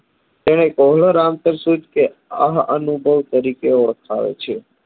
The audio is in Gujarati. અને કહલોર અહ અનુભવ તરીકે ઓળખાય છે